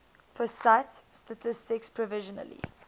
pusat statistik provisionally